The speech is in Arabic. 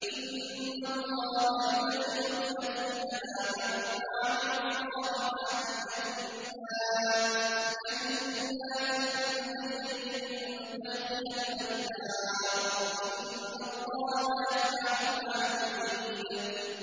إِنَّ اللَّهَ يُدْخِلُ الَّذِينَ آمَنُوا وَعَمِلُوا الصَّالِحَاتِ جَنَّاتٍ تَجْرِي مِن تَحْتِهَا الْأَنْهَارُ ۚ إِنَّ اللَّهَ يَفْعَلُ مَا يُرِيدُ